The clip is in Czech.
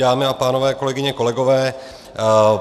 Dámy a pánové, kolegyně, kolegové.